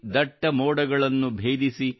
ದಟ್ಟ ಮೋಡಗಳನ್ನು ಭೇದಿಸಿ